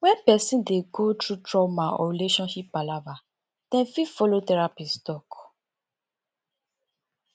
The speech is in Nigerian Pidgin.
when person dey go through trauma or relationship palava dem fit follow therapist talk